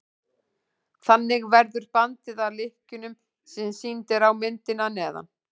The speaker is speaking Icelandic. þannig verður bandið að lykkjunni sem sýnd er á myndinni að neðan